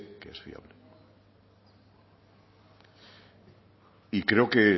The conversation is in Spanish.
que es fiable y creo que